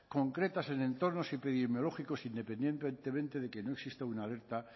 concretas en entornos epidemiológicos independientemente de que no existe una alerta